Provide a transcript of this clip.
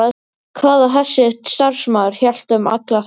Hvað ef þessi starfsmaður hélt um alla þræði?